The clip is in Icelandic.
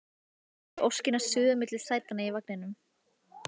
Heyri óskina suða milli sætanna í vagninum